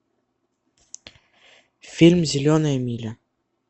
фильм зеленая миля